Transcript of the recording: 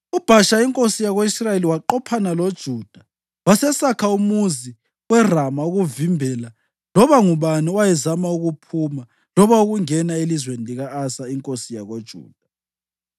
UBhasha inkosi yako-Israyeli waqophana loJuda wasesakha umuzi weRama ukuvimbela loba ngubani owayezama ukuphuma loba ukungena elizweni lika-Asa inkosi yakoJuda.